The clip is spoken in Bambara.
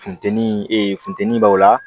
Funteni funteni b'aw la